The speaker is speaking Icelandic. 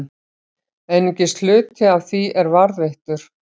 Einungis hluti af því er varðveittur.